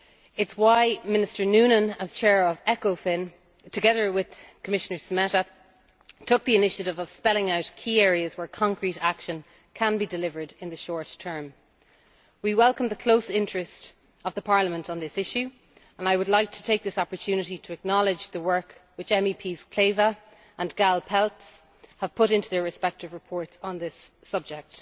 It is why Minister Noonan, as Chair of ECOFIN, together with Commissioner Šemeta, took the initiative of spelling out key areas where concrete action can be delivered in the short term. We welcome the close interest of Parliament on this issue, and I would like to take this opportunity to acknowledge the work which Mojca Kleve Kekuš and Ildikó Gáll Pelcz have put into their respective reports on this subject.